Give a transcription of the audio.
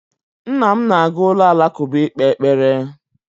Nna m na-aga ụlọ alakụba ikpe ekpere